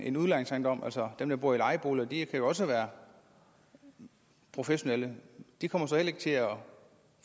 en udlejningsejendom altså dem der bor i lejeboliger de kan jo også være professionelle de kommer så heller ikke til at